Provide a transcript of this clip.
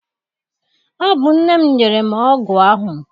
Ọ bụ nne m nyere m ọgụ ahụ.